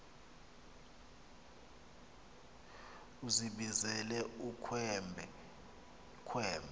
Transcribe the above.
uzibizele ukhwembe khwembe